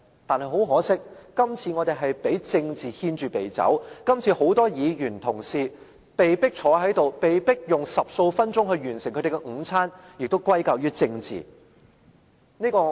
但很可惜，今次我們被政治牽着鼻子走，今次很多議員同事被迫坐在這裏，被迫以十數分鐘完成他們的午餐，也是歸咎於政治。